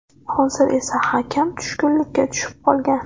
Hozir esa hakam tushkunlikka tushib qolgan .